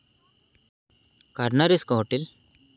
काढणारेस का हॉटेल?